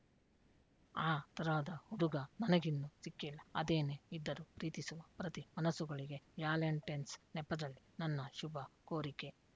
ಆ ತರಹದ ಹುಡುಗ ನನಗಿನ್ನು ಸಿಕ್ಕಿಲ್ಲ ಅದೇನೆ ಇದ್ದರೂ ಪ್ರೀತಿಸುವ ಪ್ರತಿ ಮನಸ್ಸುಗಳಿಗೆ ವ್ಯಾಲೆಂಟೆನ್ಸ್‌ ನೆಪದಲ್ಲಿ ನನ್ನ ಶುಭ ಕೋರಿಕೆ